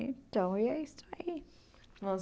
Então, é isso aí. Nossa